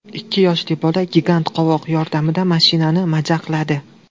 Ikki yoshli bola gigant qovoq yordamida mashinani majaqladi.